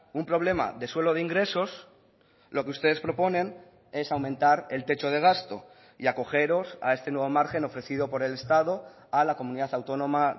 un problema de suelo de ingresos lo que ustedes proponen es aumentar el techo de gasto y acogeros a este nuevo margen ofrecido por el estado a la comunidad autónoma